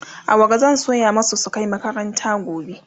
awara zan soya masu su Kai makaranta gobe